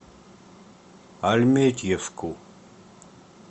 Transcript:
альметьевску